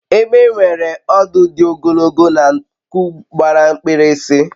egbe n'enwe ọdụ di ogologo na nku gbara mkpirisi